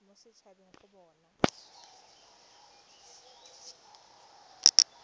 mo set habeng go bona